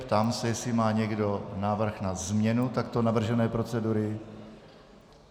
Ptám se, jestli má někdo návrh na změnu takto navržené procedury.